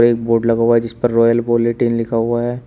एक बोर्ड लगा हुआ है जिस पर रॉयल बुलेटिन लिखा हुआ है।